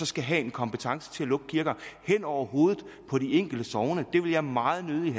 skal have kompetence til at lukke kirker hen over hovedet på de enkelte sogne det vil jeg meget nødigt